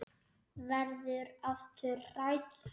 Verður aftur hrædd.